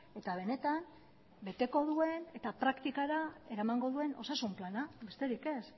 eta benetan beteko duen eta praktikara eramango duen osasun plana besterik ez